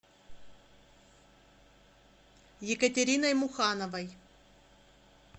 екатериной мухановой